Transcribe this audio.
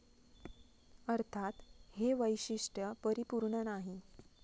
अर्थात, हे वैशिष्ट्य परिपुर्ण नाही.